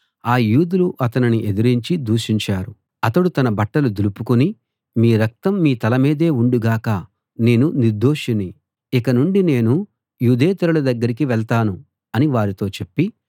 ఆ యూదులు అతనిని ఎదిరించి దూషించారు అతడు తన బట్టలు దులుపుకుని మీ రక్తం మీ తలమీదే ఉండుగాక నేను నిర్దోషిని ఇక నుండి నేను యూదేతరుల దగ్గరికి వెళ్తాను అని వారితో చెప్పి